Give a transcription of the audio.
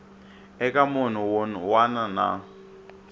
eka munhu wun wana na